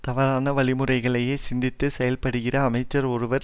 தவறான வழிமுறைகளையே சிந்தித்து செயல்படுகிற அமைச்சர் ஒருவர்